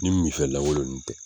Ni mifɛn lakolon ninnu tɛ